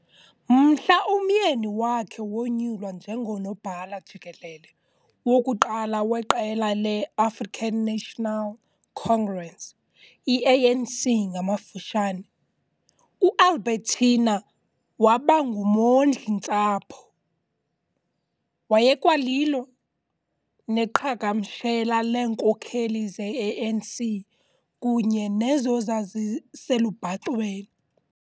Mhla umyeni wakhe wonyulwa njengonobhala jikelele wokuqala weqela le -African National Congress, i - A.N.C ngamafutshane, u - Albertina waba ngumondli - ntsapho. Wayekwalilo neqhagamshela leenkokheli ze - A.N.C kunye nezo zaziselubhacweni.